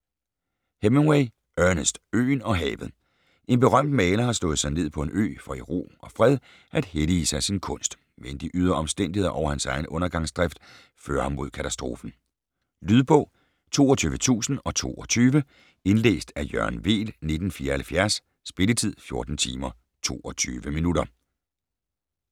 Hemingway, Ernest: Øen og havet En berømt maler har slået sig ned på en ø for i ro og fred at hellige sig sin kunst, men de ydre omstændigheder og hans egen undergangsdrift fører ham mod katastrofen. Lydbog 22022 Indlæst af Jørgen Weel, 1974. Spilletid: 14 timer, 22 minutter.